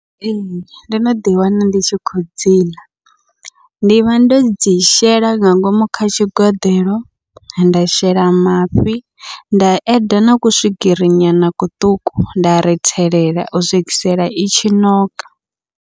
Ee, ndo no ḓi wana ndi tshi khou dziḽa, ndivha ndo dzi shela nga ngomu kha tshigeḓelo, nda shela mafhi nda eda naku swigiri nyana kuṱuku nda rithelela u swikisela i tshi ṋoka.